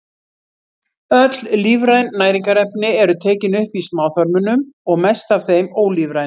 Öll lífræn næringarefni eru tekin upp í smáþörmunum og mest af þeim ólífrænu.